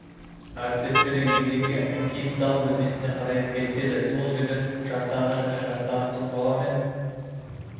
әріптестері еденге еңкейіп зал бөлмесіне қарай беттеді сол жерден жастағы және жастағы қыз бала мен